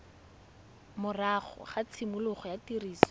morago ga tshimologo ya tiriso